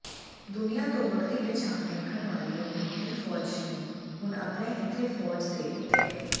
ਦੁਨੀਆ ਤੋਂ ਵੱਖਰੀ ਪਹਿਚਾਣ ਰੱਖਣ ਵਾਲੀ ਅਮਰੀਕੀ ਫ਼ੌਜ ਨੇ ਹੁਣ ਅਪਣੇ ਇੱਥੇ ਫ਼ੌਜ ਦੇ ਕੁਤਿਆਂ